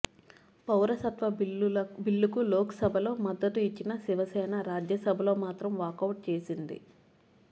పౌరసత్వ బిల్లుకు లోక్సభలో మద్దతు ఇచ్చిన శివసేన రాజ్యసభలో మాత్రం వాకౌట్ చేసింది